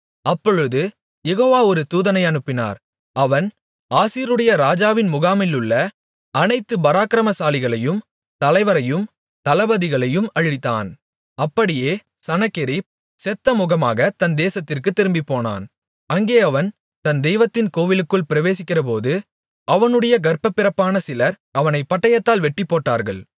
அப்பொழுது யெகோவா ஒரு தூதனை அனுப்பினார் அவன் அசீரியருடைய ராஜாவின் முகாமிலுள்ள அனைத்து பராக்கிரமசாலிகளையும் தலைவரையும் தளபதிகளையும் அழித்தான் அப்படியே சனகெரிப் செத்தமுகமாகத் தன் தேசத்திற்குத் திரும்பினான் அங்கே அவன் தன் தெய்வத்தின் கோவிலுக்குள் பிரவேசிக்கிறபோது அவனுடைய கர்ப்பப்பிறப்பான சிலர் அவனைப் பட்டயத்தால் வெட்டிப்போட்டார்கள்